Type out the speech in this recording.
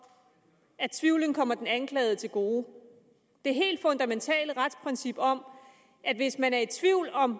at tvivlen kommer den anklagede til gode det helt fundamentale retsprincip om at hvis man er i tvivl om